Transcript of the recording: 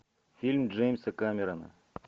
фильм джеймса камерона